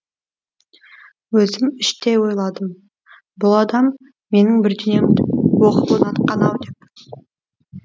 өзім іштей ойладым бұ адам менің бірдеңемді оқып ұнатқан ау деп